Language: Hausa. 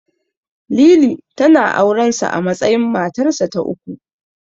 Lili, tana auren sa a matsayin matarsa ta uku.